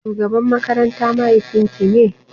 Shugaban makaranta mahaifin ki ne?